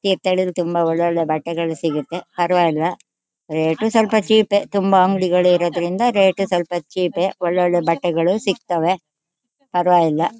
ತೀರ್ಥಳ್ಳಿ ಲಿ ತುಂಬಾ ಒಳ್ ಒಳ್ಳೆ ಬಟ್ಟೆ ಗಳು ಸಿಗುತ್ತೆ ಪರವಾಗಿಲ್ಲ ರೇಟು ಸ್ವಲ್ಪ ಚೀಪೆ ತುಂಬಾ ಅಂಗಡಿ ಗಳು ಇರೋದ್ರಿಂದ ರೇಟು ಸ್ವಲ್ಪ ಚೀಪೆ ಒಳ್ ಒಳ್ಳೆ ಬಟ್ಟೆ ಗಳು ಸಿಗ್ತಾವೆ ಪರವಾಗಿಲ್ಲ.